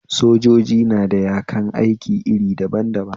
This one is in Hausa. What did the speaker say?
Sojoji na da yakan aiki iri daban daban